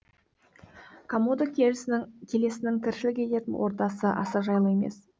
комодо келесінің тіршілік ететін ортасы аса жайлы емес